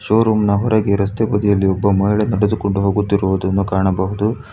Showroom ನ ಹೊರಗೆ ರಸ್ತೆ ಬದಿಯಲ್ಲಿ ಒಬ್ಬ ಮಹಿಳೆ ನಡೆದುಕೊಂಡು ಹೋಗುತ್ತಿರುವುದನ್ನು ಕಾಣಬಹುದು.